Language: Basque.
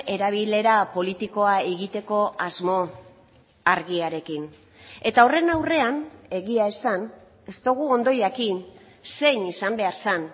erabilera politikoa egiteko asmo argiarekin eta horren aurrean egia esan ez dugu ondo jakin zein izan behar zen